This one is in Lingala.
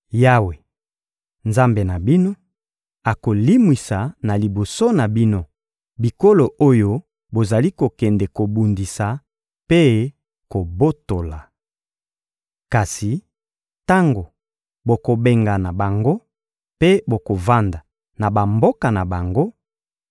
Yawe, Nzambe na bino, akolimwisa na liboso na bino bikolo oyo bozali kokende kobundisa mpe kobotola. Kasi tango bokobengana bango mpe bokovanda na bamboka na bango,